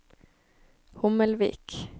Hommelvik